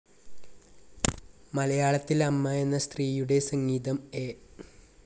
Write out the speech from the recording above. മലയാളത്തിൽ അമ്മ എന്ന സ്ത്രീയുടെ സംഗീതം എ.